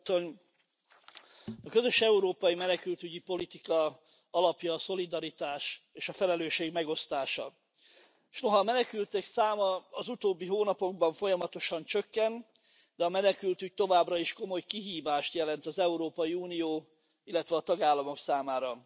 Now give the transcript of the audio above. Tisztelt Elnök Úr! A közös európai menekültügyi politika alapja a szolidaritás és a felelősség megosztása. S noha a menekültek száma az utóbbi hónapokban folyamatosan csökkent, a menekültügy továbbra is komoly kihívást jelent az Európai Unió, illetve a tagállamok számára.